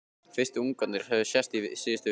Fyrstu ungarnir höfðu sést í síðustu viku.